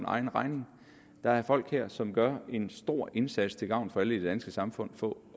egen regning der er folk her som gør en stor indsats til gavn for alle i det danske samfund for